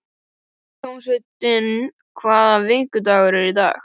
Hólmsteinn, hvaða vikudagur er í dag?